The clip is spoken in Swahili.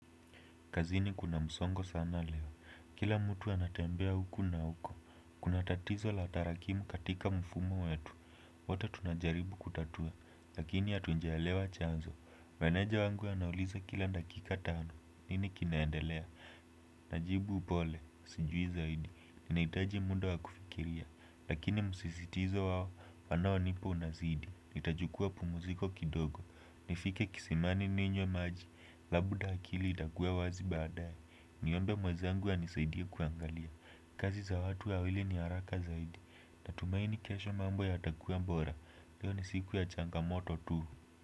Kazini kuna msongo sana leo. Kila mtu anatembea huku na huko. Kuna tatizo la tarakimu katika mfumo wetu. Wote tunajaribu kutatua. Lakini hatunjaelewa chanzo. Meneja wangu anauliza kila dakika tano. Nini kinaendelea? Najibu upole. Sijui zaidi. Ninahitaji muda wa kufikiria. Lakini msisitizo wao. Wanaonipa unazidi. Nitajukua pumuziko kidogo. Nifike kisimani ninywe maji. Labda akili itakuwa wazi baadaye. Niombe mwazangu anisaidie kuangalia. Kazi za watu wawili ni haraka zaidi. Natumaini kesho mambo yatakuwa bora. Leo ni siku ya changamoto tu.